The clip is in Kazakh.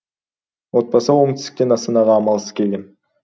отбасы оңтүстіктен астанаға амалсыз келген